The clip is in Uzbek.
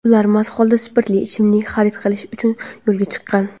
ular mast holda spirtli ichimlik xarid qilish uchun yo‘lga chiqqan.